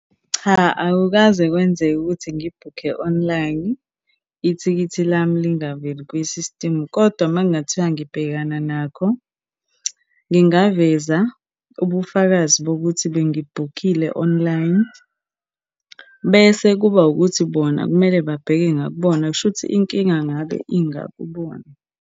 Cha, akukaze kwenzeke ukuthi ngibhukhe online, ithikithi lami lingaveli kwisistimu, kodwa uma kungathiwa ngibhekana nakho, ngingaveza ubufakazi bokuthi bengibhukhile online. Bese kuba ukuthi bona kumele babheke ngakubona, kushuthi inkinga ngabe ingakubona.